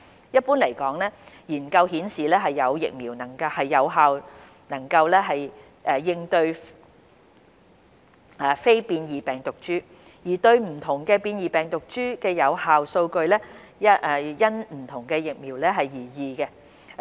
一般來說，研究顯示現有疫苗能有效應對非變異病毒株，而對不同變異病毒株的有效數據則因不同疫苗而異。